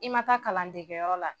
I ma taa kalandegeyɔrɔ la